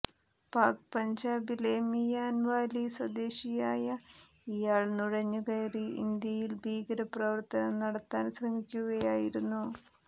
പാക് പഞ്ചാബിലെ മിയാൻവാലി സ്വദേശിയായ ഇയാൾ നുഴഞ്ഞ് കയറി ഇന്ത്യയിൽ ഭീകരപ്രവർത്തനം നടത്താൻ ശ്രമിക്കുകയായിരുന്നു